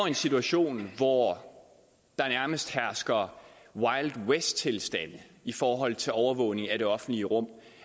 en situation hvor der nærmest hersker wildwesttilstande i forhold til overvågning af det offentlige rum